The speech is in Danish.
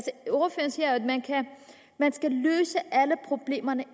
man skal løse alle problemerne